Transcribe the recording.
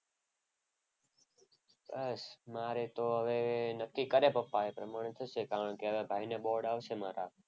બસ મારે તો હવે નક્કી કરે પપ્પા એ પ્રમાણે થશે. કારણ કે હવે ભાઈને બોર્ડ આવશે મારા.